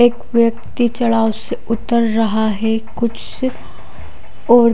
एक व्यक्ति चढाव से उतर रहा है कुछ और--